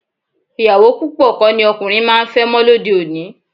Ìyàwó púpọ̀ kọ́ ni ọkùnrin máa ń fẹ́ mọ́ lóde òní